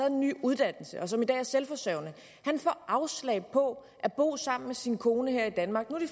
en ny uddannelse og som i dag er selvforsørgende får afslag på at bo sammen med sin kone her i danmark